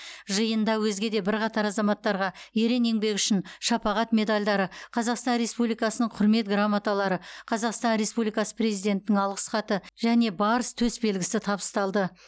жиында өзге де бірқатар азаматтарға ерен еңбегі үшін шапағат медальдарі қазақстан республикасының қүрмет грамоталары қазақстан республикасы президентінің алғыс хаты және барыс төсбелгісі табысталды